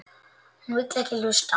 Hún vill ekki hlusta.